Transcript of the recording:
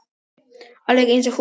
Alveg eins og hún sjálf.